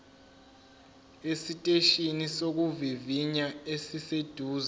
esiteshini sokuvivinya esiseduze